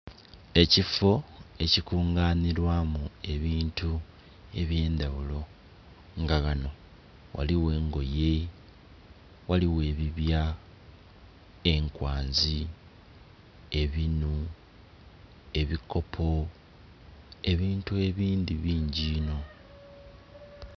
Ekifo ekikunganhilwamu ebintu ebye ndhaghulo nga ghano ghaligho engoye, ghaligho ebibya, enkwanzi, ebinuu, ebikopo ebintu ebindhi bingi enho